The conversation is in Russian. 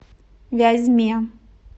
вязьме